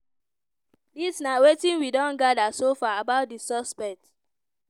dis na wetin we don gather so far about di suspect.